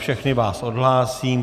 Všechny vás odhlásím.